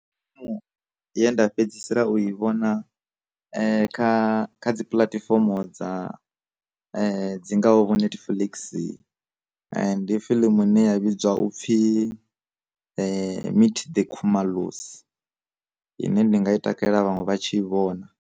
Mu ye nda fhedzisela u i vhona kha kha dzi puḽatifomo dza dzi ngaho vho netflix, ndi fiḽimu ine ya vhidzwa upfhi Meet the khumalos, ine ndinga i takalela vhaṅwe vha tshi i vhona.